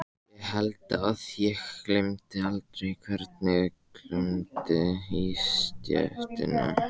Ég held að ég gleymi aldrei hvernig glumdi í stéttinni.